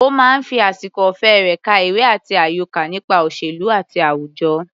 Ó máa ń fi àsìkò ọ̀fẹ́ rẹ̀ ka ìwé àti àyọká nípa òṣèlú àti àwùjọ.